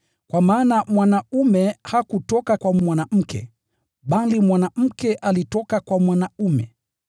Kwa maana mwanaume hakutoka kwa mwanamke, bali mwanamke alitoka kwa mwanaume.